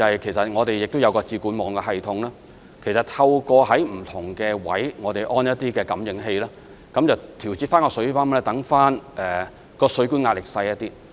此外，我們也設有"智管網"系統，透過在不同位置安裝感應器來調節水泵，令水管的壓力減少。